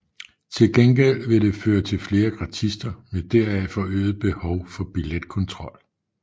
Til gengæld vil det føre til flere gratister med deraf forøget behov for billetkontrol